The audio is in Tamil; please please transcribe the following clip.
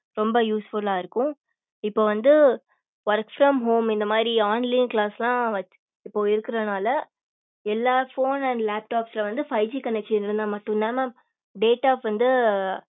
ரொம்ப usefull ஆஹ் இருக்கும் இப்ப வந்து work from home இந்த மாரி online class ல்லாம் இப்போ இருக்கிறனால எல்லா phone and laptop வந்து five G connection இருந்தா மட்டும் தான் mam datas ஆஹ்